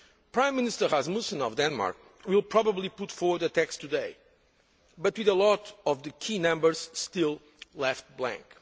days? Prime Minister Rasmussen of Denmark will probably put forward a text today but with a lot of the key numbers still left blank.